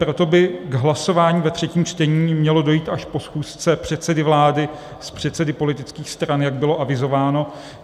Proto by k hlasování ve třetím čtení mělo dojít až po schůzce předsedy vlády s předsedy politických stran, jak bylo avizováno.